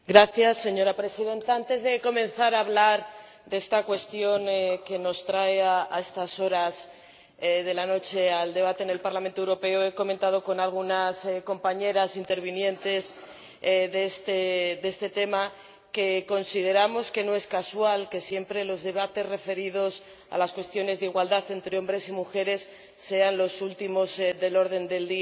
Señora Presidenta, antes de comenzar a hablar de esta cuestión que nos trae a estas horas de la noche al Pleno del Parlamento Europeo, he comentado con algunas compañeras, que van a intervenir en este debate, que consideramos que no es casual que los debates referidos a las cuestiones de igualdad entre hombres y mujeres siempre sean los últimos del orden del día